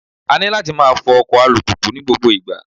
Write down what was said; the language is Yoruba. A ní láti máa fọ ọkọ̀ alùpùpù ní gbogbo ìgbà.